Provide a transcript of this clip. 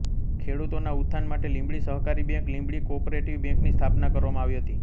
ખેડૂતોના ઉત્થાન માટે લીંબડી સહકારી બેંક લીંબડી કોઑપરેટીવ બેંક ની સ્થાપના કરવામાં આવી હતી